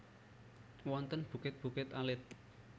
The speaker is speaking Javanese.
Wonten bukit bukit alit